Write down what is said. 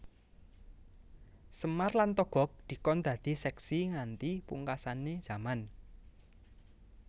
Semar lan Togog dikon dadi seksi nganti pungkasane jaman